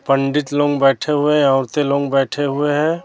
पंडित लोग बैठे हुए हैं औरतें लोग बैठे हुए हैं।